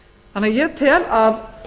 þannig að ég tel að